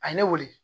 A ye ne wele